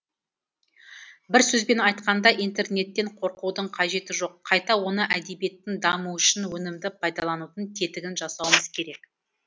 бір сөзбен айтқанда интернеттен қорқудың қажеті жоқ қайта оны әдебиеттің дамуы үшін өнімді пайдаланудың тетігін жасауымыз керек